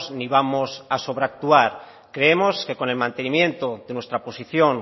ni vamos a sobreactuar creemos que con el mantenimiento de nuestra posición